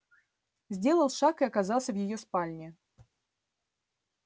сделал шаг и оказался в её спальне